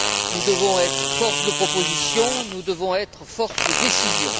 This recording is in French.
Nous devons être force de proposition, nous devons être force de décision.